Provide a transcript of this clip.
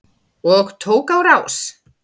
Og tók á rás.